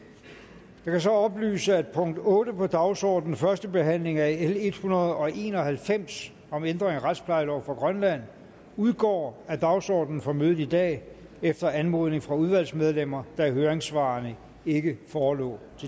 jeg kan så oplyse at punkt otte på dagsordenen første behandling af l en hundrede og en og halvfems om ændring af retsplejelov for grønland udgår af dagsordenen for mødet i dag efter anmodning fra udvalgsmedlemmer da høringssvarene ikke forelå